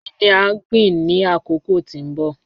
Kini a gbin ni akoko ti n bọ?